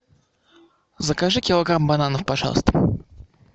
закажи килограмм бананов пожалуйста